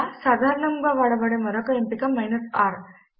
ఇంకా సాధారణముగా వాడబడే మరొక ఎంపికను r